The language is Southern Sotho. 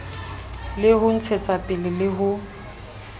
le ho ntshetsapele le ho